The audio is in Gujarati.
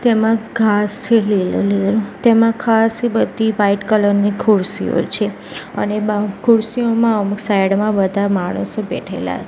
તેમાં ઘાંસ છે લીલો લીલો તેમાં ખાસી બધી વાઈટ કલર ની ખુરશીઓ છે અને બા ખુરશીઓમાં અમુક સાઇડ માં બધા માણસો બેઠેલા--